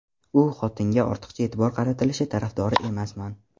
U xotinga ortiqcha e’tibor qaratilishi tarafdori emasman.